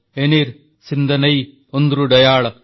ଏନିର୍ ସିନ୍ଦନୈ ଓଂନ୍ଦ୍ରୁଡୈୟାଳ